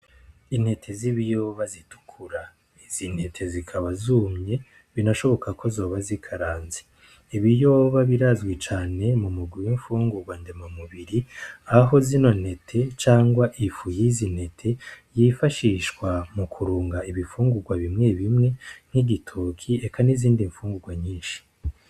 Intete z’ibiyoba zitukura. Izi ntete zikaba zumye binashoboka ko zoba zikaranze , ibiyoba birazwi cane mu mugwi w’infungurwa ndemamubiri , aho zino ntete cangwa ifu y’izi ntete yifashishwa mu kurunga ibifungurwa bimwe bimwe nk’igitoke eka n’izindi nfungurwa .